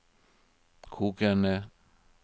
kokende